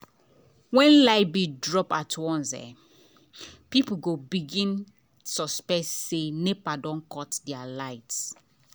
when light bill drop at once people go begin dey suspect say nepa don cut their light.